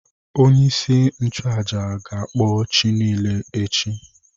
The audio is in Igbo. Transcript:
Onye-isi-nchu-àjà gakpọ chi nile echi.